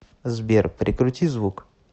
сбер прикрути звук